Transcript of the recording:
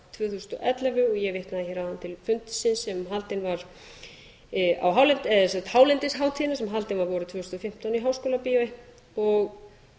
hér áðan í könnunina frá tvö þúsund og ellefu og ég vitnaði hér áðan til fundarins sem haldinn var á hálendishátíðinni sem haldin var vorið tvö þúsund og fimmtán í háskólabíói og